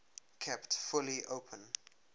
kept fully open